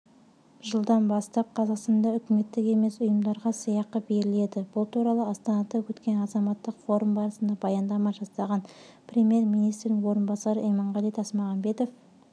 жылдан бастап қазақстанда үкіметтік емес ұйымдарға сыйақы беріледі бұл туралы астанада өткен азаматтық форум барысында баяндама жасаған премьер-министрдің орынбасары иманғали тасмағамбетов